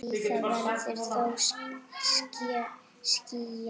Víða verður þó skýjað.